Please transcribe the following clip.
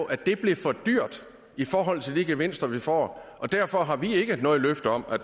at det blev for dyrt i forhold til de gevinster vi ville få og derfor har vi ikke noget løfte om at